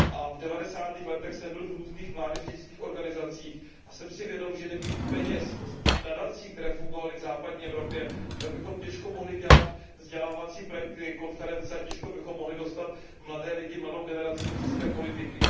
V devadesátých letech jsem byl v různých mládežnických organizacích a jsem si vědom toho, že nebýt peněz z nadací, které fungovaly v západní Evropě, tak bychom těžko mohli dělat vzdělávací projekty a konference, těžko bychom mohli dostat mladé lidi, mladou generaci do české politiky.